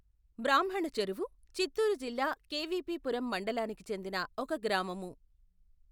బ్రాహ్మణ చెరువు చిత్తూరు జిల్లా కెవీపీపురం మండలానికి చెందిన ఒక గ్రామము.